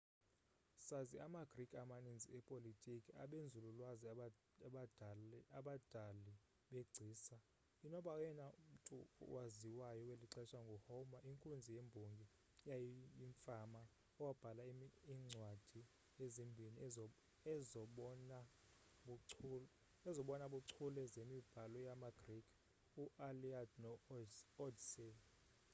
sazi ama-greek amaninzi epolitiki abenzululwazi abadali begcisa inoba oyena mmtu owaziwayo welixesha ngu-homer inkunzi yembongo eyayiyimfama owabhala iimcwadi ezimbhini ezobona buchule zemibhalo yama-greek u-iliad no-odyssey